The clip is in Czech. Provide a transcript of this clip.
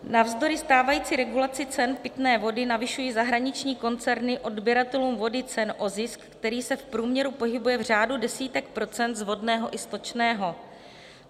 Navzdory stávající regulaci cen pitné vody navyšují zahraniční koncerny odběratelům vody cen o zisk, který se v průměru pohybuje v řádu desítek procent z vodného i stočného.